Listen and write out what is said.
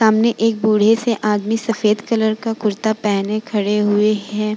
सामने एक बूढ़े से आदमी सफ़ेद कलर का कुर्ता पेहेने खड़े हुए हैं।